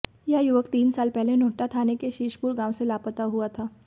यह युवक तीन साल पहले नोहटा थाना के शीशपुर गांव से लापता हुआ था